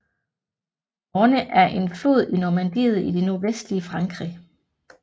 Orne er en flod i Normandiet i det nordvestlige Frankrig